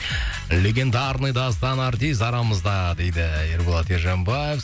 легендарный дастан артист арамызда дейді ерболат ержанбаев